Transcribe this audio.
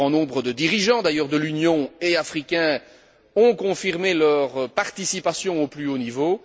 Un grand nombre de dirigeants, européens et africains, ont confirmé leur participation au plus haut niveau.